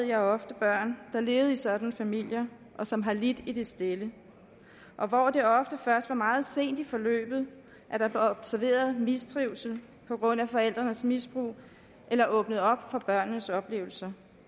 jeg ofte børn der levede i sådanne familier og som har lidt i det stille og hvor det ofte først var meget sent i forløbet at der blev observeret mistrivsel på grund af forældrenes misbrug eller åbnet op for børnenes oplevelser